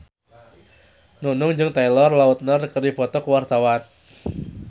Nunung jeung Taylor Lautner keur dipoto ku wartawan